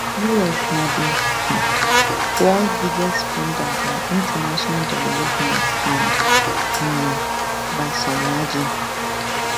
us na di um world biggest spender on international development and um by some margin